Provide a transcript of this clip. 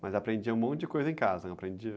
Mas aprendia um monte de coisa em casa, não aprendia?